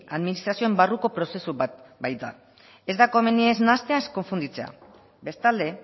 administrazioan barruko prozesu bat baita ez da komeni ez nahastea ez konfunditzea bestalde